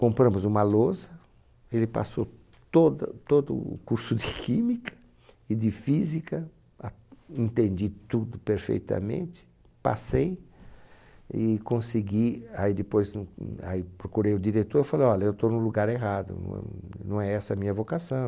Compramos uma lousa, ele passou toda, todo o curso de química e de física, entendi tudo perfeitamente, passei e consegui, aí depois n, aí procurei o diretor e falei, olha, eu estou no lugar errado, não é, não é essa a minha vocação.